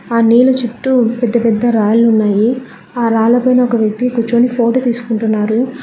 ఆ నీళ్ల చుట్టూ పెద్ద పెద్ద రాళ్లు ఉన్నాయి ఆ రాళ్ల పైన ఒక వ్యక్తి కూర్చొని ఫోటో తీసుకుంటున్నారు.